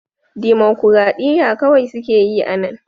Dimokuradiyya kawai suke yi a nan